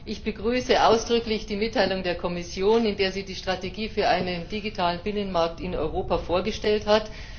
Ich begrüße ausdrücklich die Mitteilung der Kommission, in der sie die Strategie für einen digitalen Binnenmarkt in Europa vorgestellt hat.